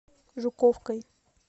жуковкой